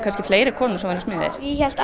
fleiri konur smiðir ég hélt